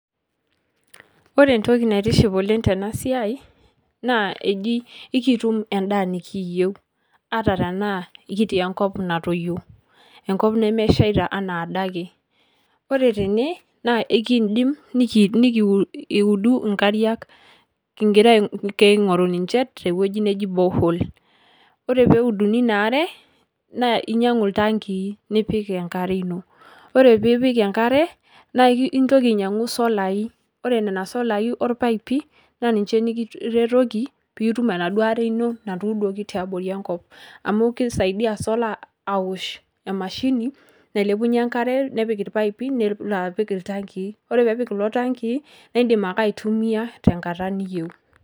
Ore entoki naitiship oleng' tena siai naa eji ekitum endaa nekiiyeu ata tenaa kitii enkop natoyio, enkop nemeshaita enaa adake. Ore tene naa ekindim niki nikiu nikiudu inkariak king'ira aing'otu ninje te wueji neji borehole. Ore peeuduni ina are naa inyang'u iltankii nipik enkare ino, ore piipik enkare naake intoki ainyang'u solai ore nena solai orpaipi naa ninje nekiretoki piitum enaduo are ino natuuduoki tiabori enkop amu kisaidia solar awosh emashini nailepunye enkare nepik irpaipi nelo apik iltankii, ore pee epik kulo tankii nae indim ake aitumia tenkata niyeu